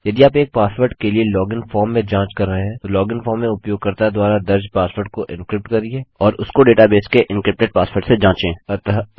यदि आप एक पासवर्ड के लिए लॉगिन फॉर्म में जाँच कर रहे हैं तो लॉगिन फॉर्म में उपयोगकर्ता द्वारा दर्ज़ पासवर्ड को एनक्रिप्ट करिये और उसको डेटा बेस के एन्क्रिप्टेड पासवर्ड से जाँचें